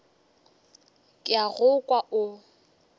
ke a go kwa o